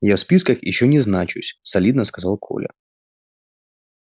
я в списках ещё не значусь солидно сказал коля